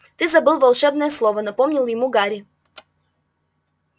ты забыл волшебное слово напомнил ему гарри